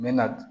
N mɛ na